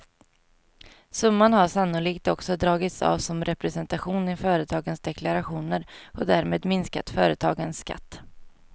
Summan har sannolikt också dragits av som representation i företagens deklarationer och därmed minskat företagens skatt.